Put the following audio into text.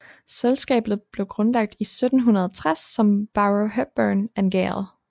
Selskabet blev grundlagt i 1760 som Barrow Hepburn and Gale